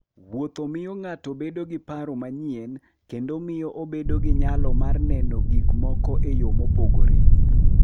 Wuotho miyo ng'ato bedo gi paro manyien kendo miyo obedo gi nyalo mar neno gik moko e yo mopogore.